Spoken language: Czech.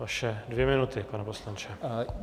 Vaše dvě minuty, pane poslanče.